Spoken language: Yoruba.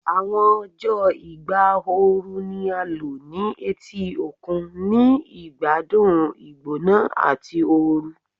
Awọn ọjọ igba ooru ni a lo ni eti okun, ni igbadun igbona ati oorun